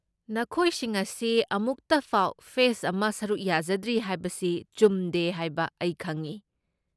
ꯅꯈꯣꯏꯁꯤꯡ ꯑꯁꯤ ꯃꯅꯨꯛꯇꯐꯥꯎ ꯐꯦꯁꯠ ꯑꯃ ꯁꯔꯨꯛ ꯌꯥꯖꯗ꯭ꯔꯤ ꯍꯥꯏꯕꯁꯤ ꯆꯨꯝꯗꯦ ꯍꯥꯏꯕ ꯑꯩ ꯈꯪꯢ꯫